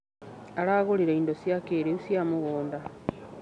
Aragũrire indo cia kĩrĩu cia mũgũnda.